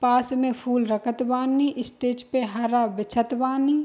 पास में फूल रखत बानी स्टेज पे हरा बिछत बानी।